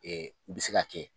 Ɛɛ u bɛ se ka kɛ